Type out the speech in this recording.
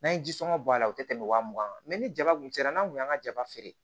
N'an ye ji sɔngɔn bɔ a la o tɛ tɛmɛ wa mugan kan ni jaba kun sera n'a kun y'an ka jaba feere